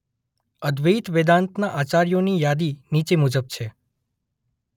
અદ્વૈત વેદાંતના આચાર્યોની યાદી નીચે મુજબ છે.